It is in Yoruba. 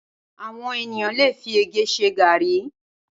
Awòn éniyàn lé fi ègè ṣè gàrí